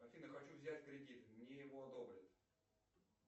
афина хочу взять кредит мне его одобрят